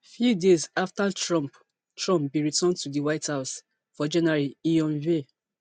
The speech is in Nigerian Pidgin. few days afta trump trump bin return to di white house for january e unveil